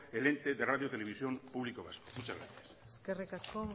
el ente de radio televisión pública vasca muchas gracias eskerrik asko